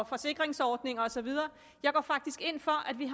forsikringsordninger og så videre jeg går faktisk ind for at vi